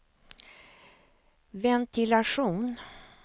ventilation